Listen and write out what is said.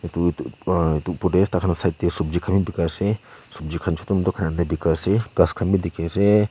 dut sobji khan bekri kori ase sabji khan tu chuti chuti dekhi ase gaas khan bhi dekhi ase.